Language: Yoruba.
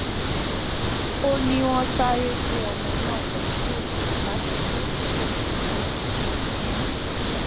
ó ní wọn sáré gbé ọmọ náà lọ síléèwosán láti du ẹmí rẹ ṣùgbọn ó ti kú